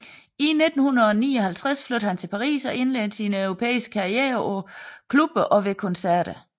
I 1959 flyttede han til Paris og indledte sin europæiske karriere på klubber og ved koncerter